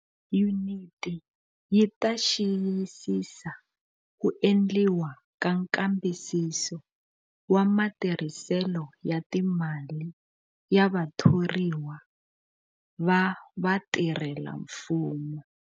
Yuniti yi ta xiyisisa ku endliwa ka nkambisiso wa matirhiselo ya timali ya vathoriwa va vatirhelamfumo.